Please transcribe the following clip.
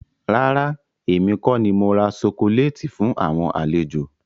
Rárá, èmi kọ ni mora sokoléétì fún àwọn àlejò.